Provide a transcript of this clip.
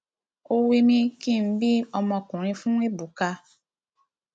ó wímí kí n bí ọmọkùnrin fún ébùkà